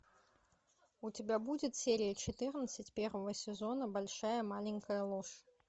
у тебя будет серия четырнадцать первого сезона большая маленькая ложь